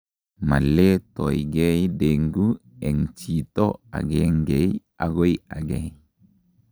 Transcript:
moletoigei dengue en chito agengei agoi agei